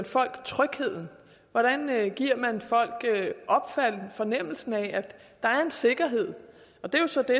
folk tryghed hvordan man giver folk fornemmelsen af at der er en sikkerhed og det er jo så det